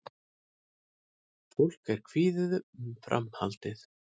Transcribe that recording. Fólk er kvíðið um framhaldið